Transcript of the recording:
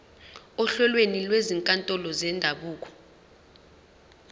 ohlelweni lwezinkantolo zendabuko